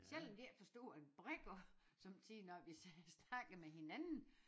Selvom de ikke forstår en brik af sommetider når vi snakker med hinanden